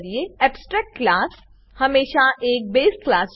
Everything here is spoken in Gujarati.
એબ્સ્ટ્રેક્ટ ક્લાસ એબસ્ટ્રેક્ટ ક્લાસ હમેશા એક બસે ક્લાસ બેઝ ક્લાસ છે